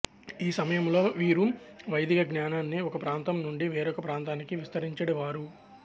ఈ సమయంలో వీరు వైదిక జ్ఞానాన్ని ఒకప్రాంతం నుండి వేరొక ప్రాంతానికి విస్తరించెడివారు